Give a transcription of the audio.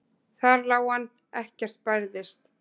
Þar lá hann, ekkert bærðist.